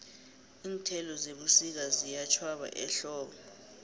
iinthelo zebusika ziyatjhwaba ehlobo